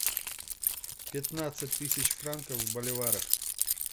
пятнадцать тысяч франков в боливарах